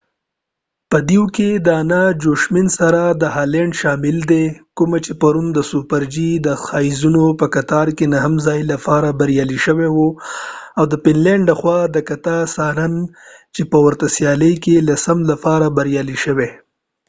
په دوئ کې د انا جوشیمسن سره هالینډ شامل دي کومه چی پرون د سوپر جی د ښځیناو په کتار کی نهم ځائی لپاره بریالی شوی وه او د فن لینډ لخوا کټجا سارینن چی په ورته سیالۍ کې لسم ځائ لپاره بریالی شوی